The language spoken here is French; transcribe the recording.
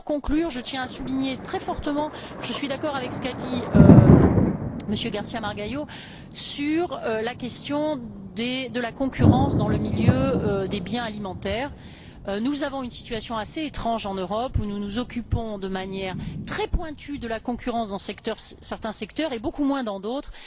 Enfin, pour conclure, je tiens à souligner très fortement que je suis d'accord avec ce qu'a dit M. García Margallo y Marfil sur la question de la concurrence dans le milieu des biens alimentaires. Nous avons une situation assez étrange en Europe où nous nous occupons de manière très pointue de la concurrence dans certains secteurs et beaucoup moins dans d'autres.